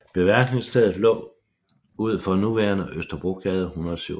Beværtningsstedet lå ud for nuværende Østerbrogade 167